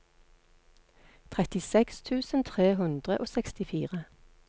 trettiseks tusen tre hundre og sekstifire